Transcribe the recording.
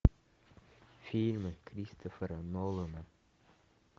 фильмы кристофера нолана